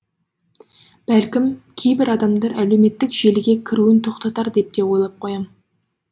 бәлкім кейбір адамдар әлеуметтік желіге кіруін тоқтатар деп те ойлап қоям